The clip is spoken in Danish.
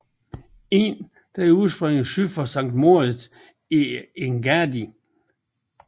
Inn udspringer syd for Sankt Moritz i Engadin